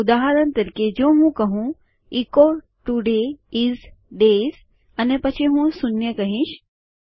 તો ઉદાહરણ તરીકે જો હું કહું ઇકો ટુડે ઈઝ ડેયઝ અને પછી હું શૂન્ય કહીશ